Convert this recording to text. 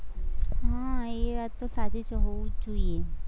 હમ એ વાત તો સાચી જ છે, હોવું જ જોઈએ.